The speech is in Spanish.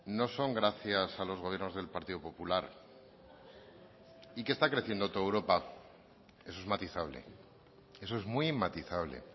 no son gracias a los gobiernos del partido popular y que está creciendo toda europa eso es matizable eso es muy matizable